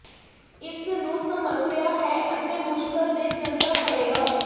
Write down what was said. ਇਸ ਨੂੰ ਸਮੱਸਿਆ ਹੈ ਅਤੇ ਮੁਸ਼ਕਲ ਦੇ ਜਨਤਾ ਪੜੇਗਾ